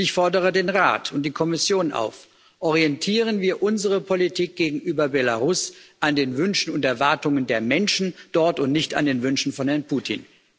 Und ich fordere den Rat und die Kommission auf Orientieren wir unsere Politik gegenüber Belarus an den Wünschen und Erwartungen der Menschen dort und nicht an den Wünschen von Herrn Putin.